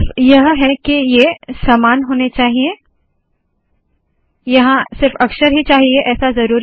सिर्फ यह है के ये समान होने चाहिए यहाँ सिर्फ अक्षर ही चाहिए ऐसा ज़रुरी नहीं